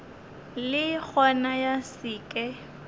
le gona ya se ke